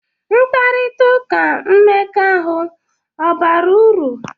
Mkparịta ụka mmekọahụ ọ̀ bara uru?